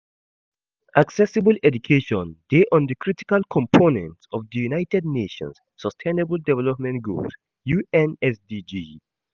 Accessible education dey on di critical component of di 'United Nations' Sustainable Development Goals (UNSDG)'.